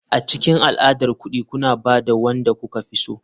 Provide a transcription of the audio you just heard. A cikin al'adar kuɗi kuna ba da wanda kuka fi so.